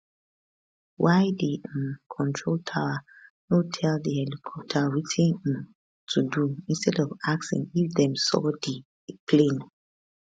why di um control tower no tell di helicopter wetin um to do instead of asking if dem saw di plane